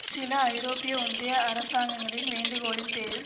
சில ஐரோப்பிய ஒன்றிய அரசாங்கங்களின் வேண்டுகோளின் பேரில்